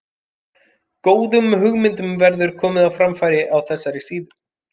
Góðum hugmyndum verður komið á framfæri á þessari síðu.